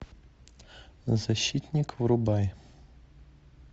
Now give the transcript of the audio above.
защитник врубай